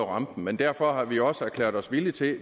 rampen men derfor har vi også erklæret os villige til